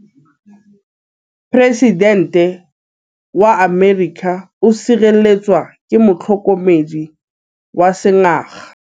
Poresitêntê wa Amerika o sireletswa ke motlhokomedi wa sengaga.